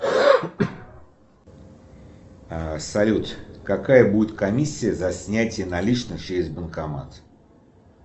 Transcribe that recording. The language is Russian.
салют какая будет комиссия за снятие наличных через банкомат